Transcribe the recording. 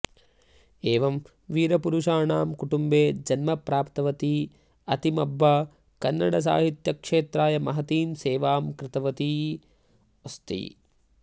एवं वीरपुरुषाणां कुटुम्बे जन्म प्राप्तवती अत्तिमब्बा कन्नडसाहित्यक्षेत्राय महतीं सेवां कृतवती अस्ति